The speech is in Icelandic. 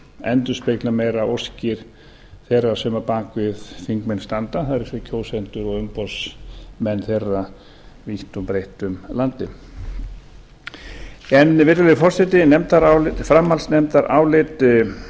endurspegla meira óskir þeirra sem á bak við þingmenn standa það er kjósendur og umboðsmenn þeirra vítt og breitt um landið en virðulegi forseti framhaldsnefndarálit